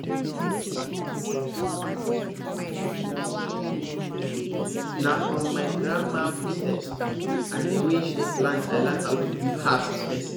na from my grandma footstep and the way she dey plant i learn how to give herbs space